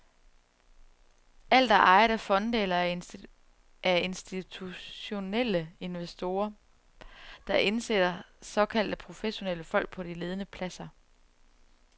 Alt er ejet af fonde eller af institutionelle investorer, der indsætter såkaldte professionelle folk på de ledende pladser.